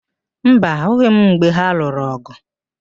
Mba, ahụghị m mgbe ha lụrụ ọ̀gụ̀.